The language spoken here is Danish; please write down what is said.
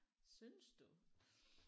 Synes du?